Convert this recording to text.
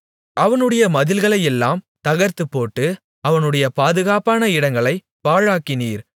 அவனுடைய மதில்களையெல்லாம் தகர்த்துப்போட்டு அவனுடைய பாதுகாப்பான இடங்களைப் பாழாக்கினீர்